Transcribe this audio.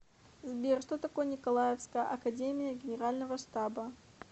сбер что такое николаевская академия генерального штаба